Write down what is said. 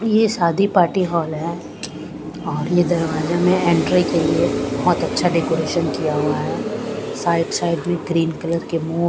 ये शादी party hall है और ये दरवाजे में एंट्री के लिए बहुत अच्छा डेकोरेशन किया गया है साइड साइड में ग्रीन कलर के म--